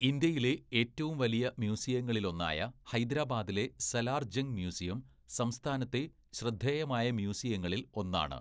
ഇന്ത്യയിലെ ഏറ്റവും വലിയ മ്യൂസിയങ്ങളിലൊന്നായ ഹൈദരാബാദിലെ സലാർ ജംഗ് മ്യൂസിയം സംസ്ഥാനത്തെ ശ്രദ്ധേയമായ മ്യൂസിയങ്ങളിൽ ഒന്നാണ്.